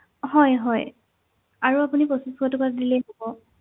হয় হয়, আৰু আপুনি পঁচিছশ টকা দিলেই হব